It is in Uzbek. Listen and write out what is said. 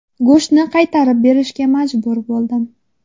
Go‘shtni qaytarib berishga majbur bo‘ldim.